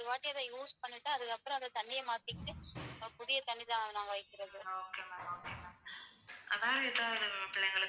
அதுனால எதாவது பிள்ளைங்களுக்கு.